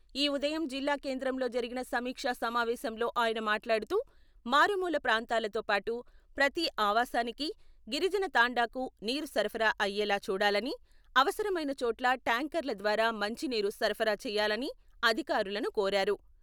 ఈ ఉదయం జిల్లా కేంద్రంలో జరిగిన సమీక్ష సమావేశంలో ఆయన మాట్లాడుతూ మారుమూల ప్రాంతాలతోపాటు ప్రతి ఆవాసానికి, గిరిజన తండాకు నీరు సరఫరా అయ్యేలా చూడాలని, అవసరమైన చోట్ల ట్యాంకర్ల ద్వారా మంచినీరు సరఫరా చేయాలని అధికారులను కోరారు.